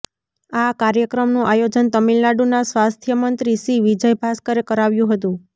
આ કાર્યક્રમનું આયોજન તમિલનાડુના સ્વાસ્થ્યમંત્રી સી વિજયભાષ્કરે કરાવ્યું હતું